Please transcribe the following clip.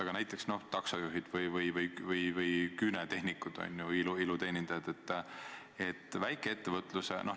Aga näiteks taksojuhid ja küünetehnikud, iluteenindajad – väikeettevõtlus.